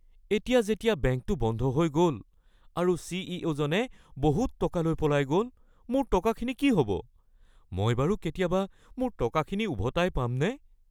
এতিয়া যেতিয়া বেংকটো বন্ধ হৈ গ’ল আৰু চি. ই. অ'.জনে বহুত টকা লৈ পলাই গ’ল মোৰ টকাখিনি কি হ’ব? মই বাৰু কেতিয়াবা মোৰ টকাখিনি উভতাই পামনে? (বন্ধু ১)